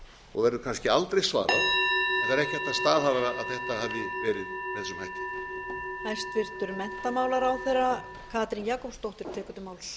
og verður kannski aldrei svarað en ekki er hægt að staðhæfa að þetta hafi verið með þessum hætti